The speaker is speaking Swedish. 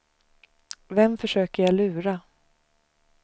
Vem försöker jag lura?